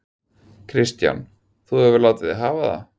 Kristján: Þú hefur látið þig hafa það?